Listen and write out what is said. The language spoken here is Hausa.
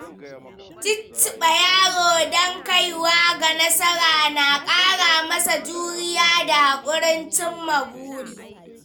Cicciɓa yaro don kaiwa ga nasara na ƙara masa juriya da haƙurin cimma buri.